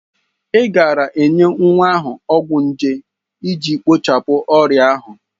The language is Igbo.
Ị gaara enye nwa ahụ ọgwụ nje iji kpochapụ ọrịa ahụ.